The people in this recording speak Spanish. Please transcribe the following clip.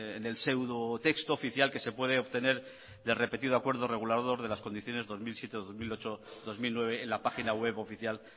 en el seudo texto oficial que se puede obtener de repetido acuerdo regulador de las condiciones dos mil siete dos mil ocho dos mil nueve en la página web oficial